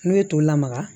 N'u ye toli la maga